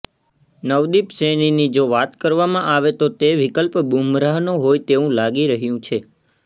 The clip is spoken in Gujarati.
નવદિપ સૈનીની જો વાત કરવામાં આવે તો તે વિકલ્પ બુમરાહનો હોઈ તેવું લાગી રહ્યું છે